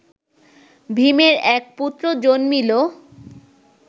ভীমের এক পুত্র জন্মিল